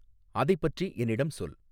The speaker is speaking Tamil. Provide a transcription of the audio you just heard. அதை பற்றி என்னிடம் சொல்